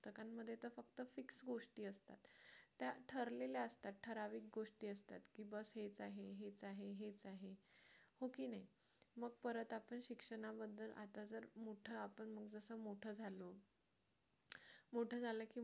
त्या ठरलेल्या असतात ठराविक गोष्टी असतात की बस हेच आहे हेच आहे हेच आहे हो की नाही परत आपण शिक्षणाबद्दल आता जर आपण मोठा मोठा झाले मोठे झाले की मग,